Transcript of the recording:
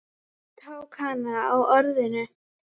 Hann tók hana á orðinu.